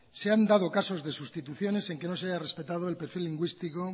se han dado casos de sustituciones en que no se haya respetado el perfil lingüístico